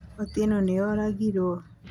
Otieno nĩ oragiro